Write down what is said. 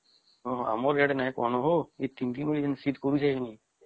ହଁ ଆମର ଆଡେ ନାଇଁ କୁହ ହୋ ଏଇ ୩ ଦିନ ଯୋଉ ଶୀତ କରୁଛେ ହୋ